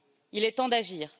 Il est temps d'agir.